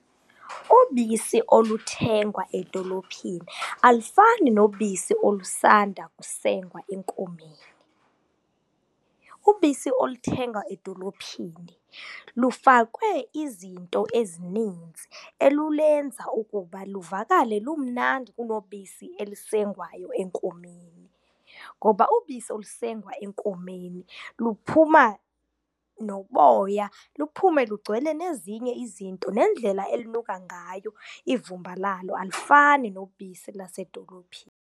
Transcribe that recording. Ubisi oluthengwa edolophini alufani nobisi olusanda kusengwa enkomeni. Ubisi oluthengwa edolophini lufakwe izinto ezininzi olulenza ukuba luvakale lumnandi kunobisi elisengwayo enkomeni. Ngoba ubisi olusengwa enkomeni luphuma noboya, luphume lugcwele nezinye izinto, nendlela elinuka ngayo ivumba lalo alifani nobisi lwasedolophini.